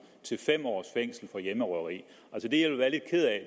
til fem års fængsel for hjemmerøverier